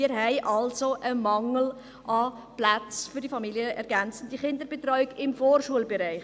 Wir haben also einen Mangel an Plätzen für die familienergänzende Kinderbetreuung im Vorschulbereich.